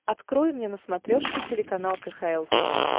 открой мне на смотрешке телеканал кхл тв